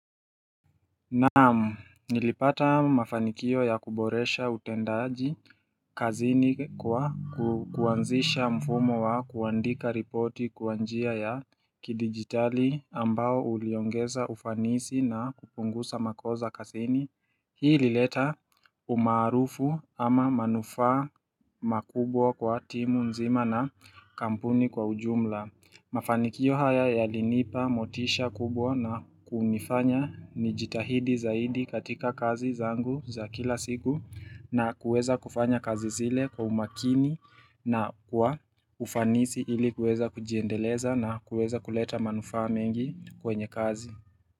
Naam, nilipata mafanikio ya kuboresha utendaji kazini kwa kuanzisha mfumo wa kuandika ripoti kwa njia ya kidijitali ambao uliongeza ufanisi na kupunguza makosa kazini Hii ilileta umaarufu ama manufaa makubwa kwa timu nzima na kampuni kwa ujumla Mafanikio haya yalinipa motisha kubwa na kunifanya nijitahidi zaidi katika kazi zangu za kila siku na kueza kufanya kazi zile kwa umakini na kwa ufanisi ili kueza kujiendeleza na kueza kuleta manufa mengi kwenye kazi.